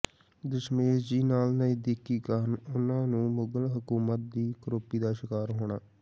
ਦਸ਼ਮੇਸ਼ ਜੀ ਨਾਲ ਨਜ਼ਦੀਕੀ ਕਾਰਨ ਉਨ੍ਹਾਂ ਨੂੰ ਮੁਗਲ ਹਕੂਮਤ ਦੀ ਕਰੋਪੀ ਦਾ ਸ਼ਿਕਾਰ ਹੋਣਾ